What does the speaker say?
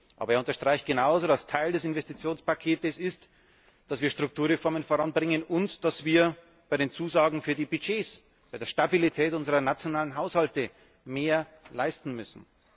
Aber er unterstreicht genauso, dass Teil des Investitionspaketes ist, dass wir Strukturreformen voranbringen und dass wir bei den Zusagen für die Budgets, bei der Stabilität unserer nationalen Haushalte mehr leisten müssen.